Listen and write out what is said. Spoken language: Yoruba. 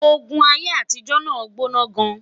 ògún aiyé àtijó nà gbóná gaan